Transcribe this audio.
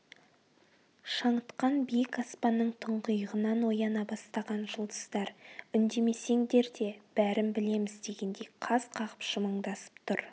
шаңытқан биік аспанның тұңғиығынан ояна бастаған жұлдыздар үндемесеңдер де бәрін білеміз дегендей қас қағып жымыңдасып тұр